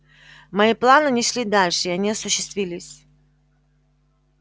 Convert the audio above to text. мои планы не шли дальше и они осуществились